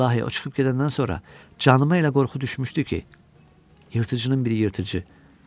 İlahi o çıxıb gedəndən sonra canıma elə qorxu düşmüşdü ki, yırtıcının biri yırtıcı.